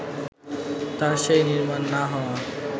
তার সেই নির্মাণ না হওয়া